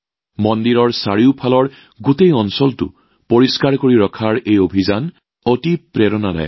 মন্দিৰৰ আশেপাশে থকা সমগ্ৰ অঞ্চলটো পৰিষ্কাৰ কৰি ৰখাৰ এই অভিযান অতি প্ৰেৰণাদায়ক